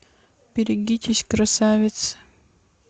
берегитесь красавицы